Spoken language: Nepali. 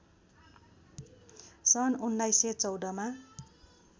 सन् १९१४ मा